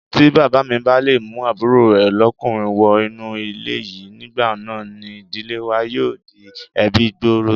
Tí Bàbámi bá le mú àbúrò rè lọ́'kùnrin wọ inú ilé yìí, nígbà náà ni ìdílé wa yóò di ẹbí-gbòòrò.